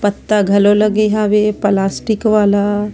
पत्ता घलो लगे हवे प्लास्टिक वाला--